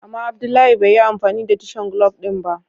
Ama Abdullahi bai yi amfani da tishen glub din ba.